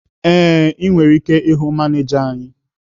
Ee, ị nwere ike ịhụ manịja anyị.